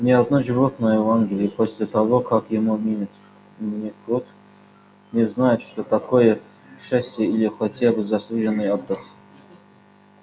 ни одно животное в англии после того как ему минет год не знает что такое счастье или хотя бы заслуженный отдых